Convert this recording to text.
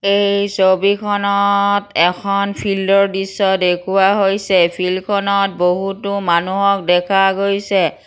এই ছবিখনত এখন ফিল্ড ৰ দৃশ্য দেখুওৱা হৈছে ফিল্ডখনত বহুতো মানুহক দেখা গৈছে।